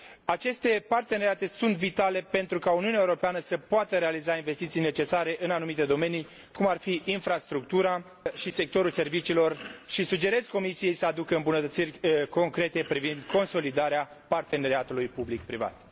Aceste parteneriate sunt vitale pentru ca Uniunea Europeană să poată realiza investiții necesare în anumite domenii cum ar fi infrastructura și sectorul serviciilor și sugerez Comisiei să aducă îmbunătățiri concrete privind consolidarea parteneriatului public privat.